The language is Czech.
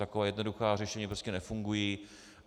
Taková jednoduchá řešení prostě nefungují.